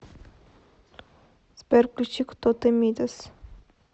сбер включи кто ты мидас